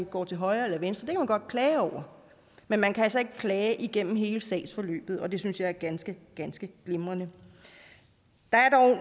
går til højre eller venstre godt klage over men man kan altså ikke klage igennem hele sagsforløbet og det synes jeg er ganske ganske glimrende